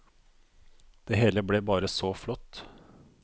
Det hele ble bare så flott.